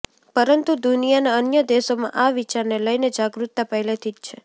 પરતું દુનિયાના અન્ય દેશોમાં આ વિચારને લઈને જાગૃતતા પહેલેથી જ છે